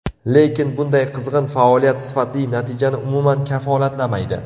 Lekin bunday qizg‘in faoliyat sifatli natijani umuman kafolatlamaydi.